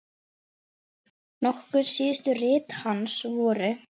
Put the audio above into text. Nokkur síðustu rit hans voru